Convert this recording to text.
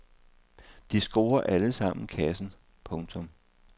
De scorer alle sammen kassen. punktum